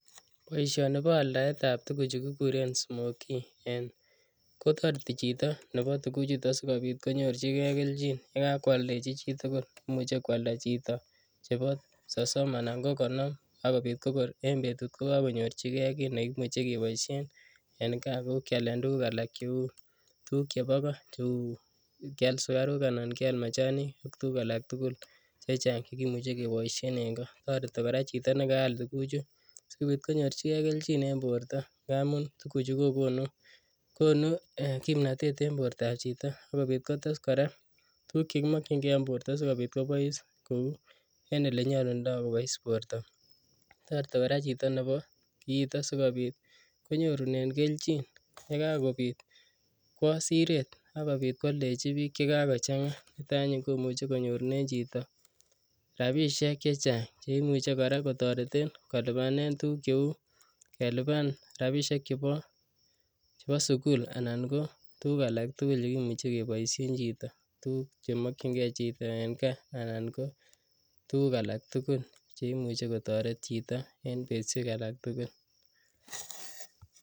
Boishoni ko aldaetab tukuk chuu kikuren smokii en Kotoreti chito tukuchuton sikopit konyorchike kelchin yekakwaldechi chitukul, imuche kwalda chito chebo sosom anan ko konom ko kor en betut ko kokonyorchike kiit nekimuche keboishen en kaa kou kialen tukuk chebo koo cheuu kial sukaruk anan kial machanik ak tukuk alak tukul chechang chekimuche keboishen en koo, toreti kora chito nekaal tukuchu sikobit konyorchike kelchin en borto amun tukuchu kokonu konuu kimnotet en bortab chito sikobit kotes kora tukuk chekimokying'e en borto sikobit kobois Kou en elenyolundo kobois borto, toreti kora chito nebo kiiton sikobit konyorunen kelchin yekakobit kwoo sireet ak kobit kwoldechi biik chekakochang'a niton anyun kotoreti konyorunen chito rabishek chechang cheimuche kora kotoreten kolipanen tukuk cheuu kelipan rabishek chebo sukul anan ko tukuk alak tukul chekimuche keboishen chito tukuk chemokying'e chito en kaa anan ko tukuk alak tukul cheimuche kotoret chito en betushek alak tukul.